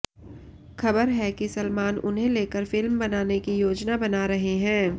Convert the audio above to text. खबर है कि सलमान उन्हें लेकर फिल्म बनाने की योजना बना रहे हैं